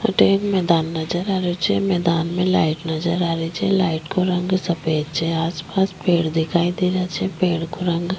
अठे एक मैदान नजर आ रेहो छे मैदान में लाइट नजर आ री छे लाइट को रंग सफेद छे आस पास पेड़ दिखाई देरा छे पेड़ को रंग--